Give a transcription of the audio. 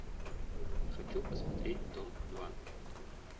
хочу посмотреть дом два